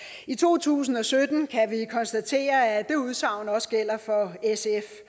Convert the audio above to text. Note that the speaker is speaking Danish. i to tusind og sytten kan vi konstatere at det udsagn også gælder for sf